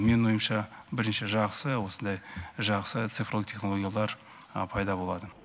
менің ойымша бірінші жақсы осындай жақсы цифрлы технологиялар пайда болады